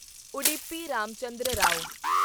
Udupi Ramachandra Rao